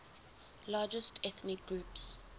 largest ethnic groups